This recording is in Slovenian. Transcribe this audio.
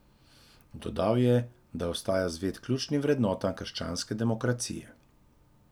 Dodal je, da ostaja zvest ključnim vrednotam krščanske demokracije.